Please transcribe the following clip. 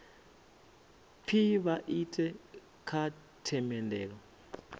pfi vha ite kha themendelo